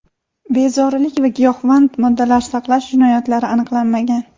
Bezorilik va giyohvand moddalar saqlash jinoyatlari aniqlanmagan.